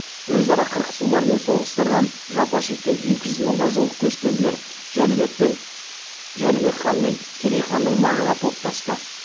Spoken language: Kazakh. өзара қырқысулар мен соғыстардан жапа шеккен екі жүз мыңға жуық көшпенділер жәнібек хан мен керей ханның маңына топтасты